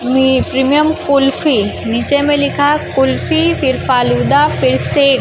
में प्रीमियम कुल्फी नीचे में लिखा है कुल्फी फिर फालूदा फिर सेब।